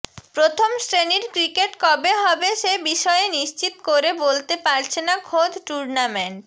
প্রথম শ্রেণীর ক্রিকেট কবে হবে সে বিষয়ে নিশ্চিত করে বলতে পারছে না খোদ টুর্নামেন্ট